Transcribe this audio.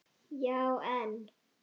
Já, en.